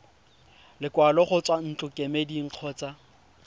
lekwalo go tswa ntlokemeding kgotsa